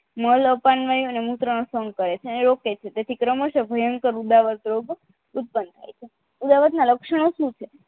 માલવપનમય અને મૂત્ર નો સંઘ કરે છે ok છે જેથી ક્રમસઃ ભયંકર ઉદાવત રોગો ઉત્પન્ન થાય છે એ બાબત ના લક્ષણો શું છે